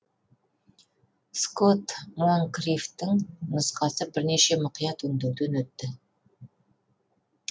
скотт монкриффтің нұсқасы бірнеше мұқият өңдеуден өтті